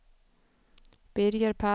Birger Palm